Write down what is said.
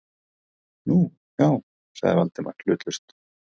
Nú, já- sagði Valdimar hlutlaust.